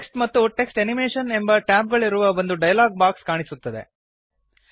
text ಮತ್ತು text animation ಎಂಬ tab ಗಳಿರುವ ಒಂದು ಡಯಲಾಗ್ ಬಾಕ್ಸ್ ಕಾಣಿಸುತ್ತದೆ